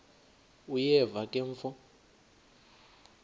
uyeva ke mfo